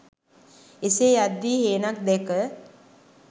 එසේ යද්දී හේනක් දැක